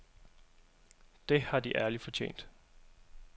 Det har de ærligt fortjent.